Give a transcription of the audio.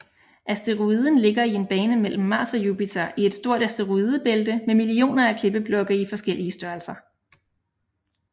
Asteroiden ligger i en bane mellem Mars og Jupiter i et stort asteroidebælte med millioner af klippeblokke i forskellige størrelser